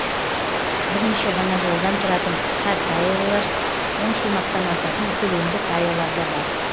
бірнеше ғана жолдан тұратын қысқа каелар он шумақтан асатын көлемді каелар да бар